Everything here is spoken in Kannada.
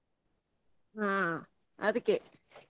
ಹಾ ಅದ್ಕೆ.